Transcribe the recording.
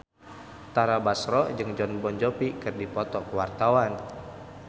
Tara Basro jeung Jon Bon Jovi keur dipoto ku wartawan